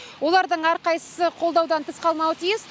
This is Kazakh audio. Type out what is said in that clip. олардың әрқайсысы қолдаудан тыс қалмауы тиіс